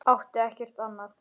Átti ekkert annað.